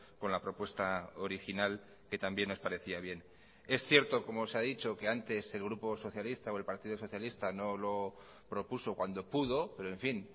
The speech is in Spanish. con la propuesta original que también nos parecía bien es cierto como se ha dicho que antes el grupo socialista o el partido socialista no lo propuso cuando pudo pero en fin